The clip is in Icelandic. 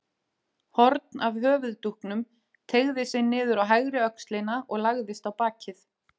Horn af höfuðdúknum teygði sig niður á hægri öxlina og lagðist á bakið.